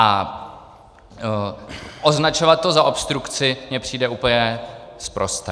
A označovat to za obstrukci mi přijde úplně sprosté.